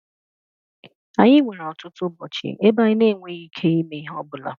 Anyị nwere ọtụtụ ụbọchị ebe anyị na-enweghị ike ime ihe ọ bụla